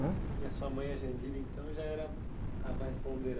Ãh? a sua mãe, a, então, já era a mais ponderada?